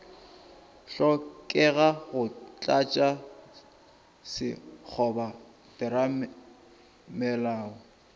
hlokega go tlatša sekgoba theramelao